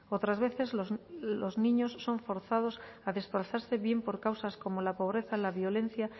otras veces los niños son forzados a desplazarse bien por causas como la pobreza la violencia